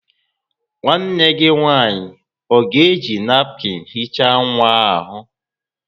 Nwanne gi nwanyi o ga-eji napụkịn hichaa nwa ahu?